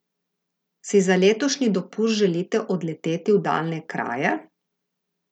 Si za letošnji dopust želite odleteti v daljne kraje?